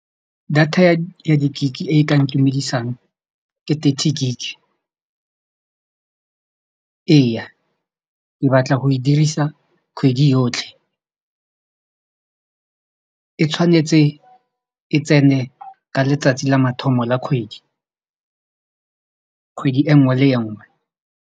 Data ya ya di-gig e ka ntumedisang ke thirty gig. Ee, ke batla go e dirisa kgwedi yotlhe e tshwanetse e tsene ka letsatsi la mathomo la kgwedi kgwedi e nngwe le e nngwe.